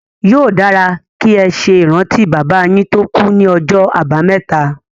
Yóò dára kí ẹ ṣe ìrántí bàbá yín tó kú ní ọjọ́ àbámẹ́ta.